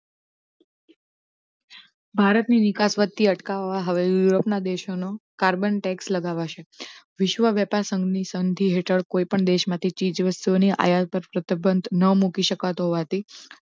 ભારત ની વીકાસ વધતી અટકાવવા હવે યુરોપ ના દેશો નો કાર્બન tax લગાવાશે વિશ્વ વ્યાપાર સંધિ સબંધી હેઠળ કોઈ પણ દેશ માંથી ચીજવસ્તુ ઓની આયાત પર પ્રતિબંધ ન મૂકી શકાતુ હોવાથી